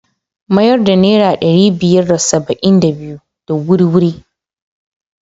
Mayar da naira ɗari biyar da saba'in da biyu. da wuri-wuri.